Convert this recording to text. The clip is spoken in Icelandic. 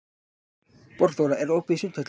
Borgþóra, er opið í Sundhöllinni?